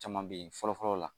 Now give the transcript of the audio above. Caman be ye fɔlɔ fɔlɔ la